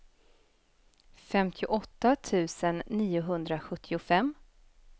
femtioåtta tusen niohundrasjuttiofem